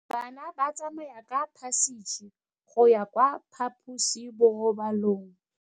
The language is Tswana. Bana ba tsamaya ka phašitshe go ya kwa phaposiborobalong.